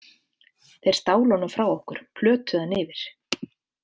Þeir stálu honum frá okkur, plötuðu hann yfir.